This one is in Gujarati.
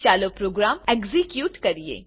ચાલો પ્રોગ્રામ એક્ઝીક્યુટ કરીએ